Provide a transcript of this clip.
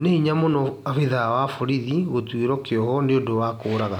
Nĩ hinya mũno abithaa wa borithi gũtuĩrwo kĩoho nĩũndũ wa kũũraga